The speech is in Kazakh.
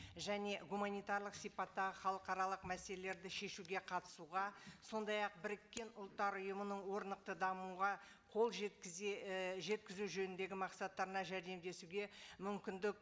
және гуманитарлық сипаттағы халықаралық мәселелерді шешуге қатысуға сондай ақ біріккен ұлттар ұйымының орнықты дамуға қол жеткізе і жеткізу жөніндегі мақсаттарына жәрдемдесуге мүмкіндік